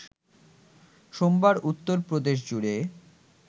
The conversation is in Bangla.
সোমবার উত্তর প্রদেশজুড়ে